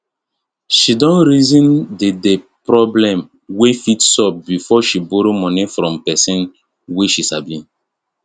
she don reason d d problem wey fit sup before she borrow moni from pesin wey she sabi